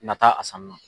Nata a sanni na